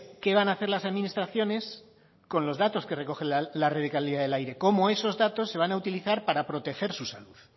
qué van a hacer las administraciones con los datos que recogen la red de calidad del aire cómo esos datos se van a utilizar para proteger su salud